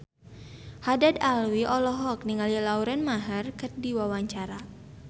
Haddad Alwi olohok ningali Lauren Maher keur diwawancara